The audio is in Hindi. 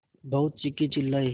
बहुत चीखेचिल्लाये